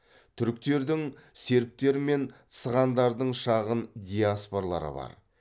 түріктердің сербтер мен цыгандардың шағын диаспоралары бар